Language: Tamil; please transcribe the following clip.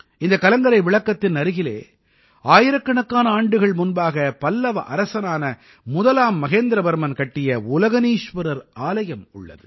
இந்த கலங்கரை விளக்கத்தின் அருகிலே ஆயிரக்கணக்கான ஆண்டுகள் முன்பாக பல்லவ அரசனான முதலாம் மகேந்திரவர்மன் கட்டிய உலகனீஸ்வரர் ஆலயம் உள்ளது